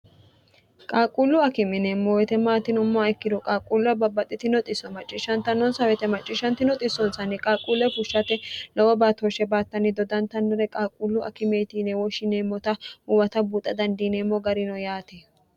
qaaquullu akimineemmo wite maatinommoa ikkiru qaaquullu ababbaxxiti noxisso macciishshantannoonsa wete macciishshanti noxissoonsanni qaaquulle fushshate lowo baatooshshe baattanni dodantannore qaaquullu akimeetinewo shineemmota uwata buuxa dandiineemmo garino yaati